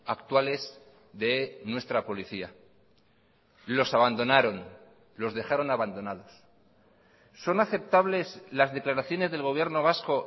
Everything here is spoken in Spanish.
actuales de nuestra policía los abandonaron los dejaron abandonados son aceptables las declaraciones del gobierno vasco